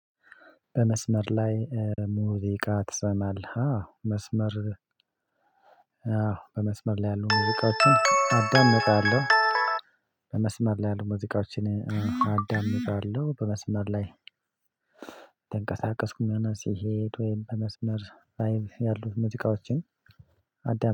በመስመር ላይ ሙዚቃ ትሰማለህ? አዎ መስመር አዎ በመስመር ላይ ያሉ ሙዚቃዎችን አዳምጣለሁ። በመስመር ላይ እየተንቀሳቀስኩም ሆነ ስሄድ ወይም በመስመር ላይም ያሉት ሙሉቃዎችን አዳም